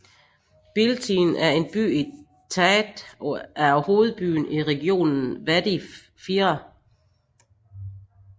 Biltine er en by i Tchad og er hovedbyen i regionen Wadi Fira